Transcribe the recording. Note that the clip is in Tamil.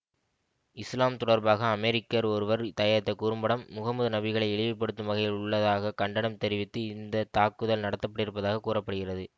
இசுலாம் தொடர்பாக அமெரிக்கர் ஒருவர் தயாரித்த குறும்படம் முகமது நபிகளை இழிவுபடுத்தும் வகையில் உள்ளதாக கண்டனம் தெரிவித்து இந்த தாக்குதல் நடத்தப்பட்டிருப்பதாகக் கூற படுகிறது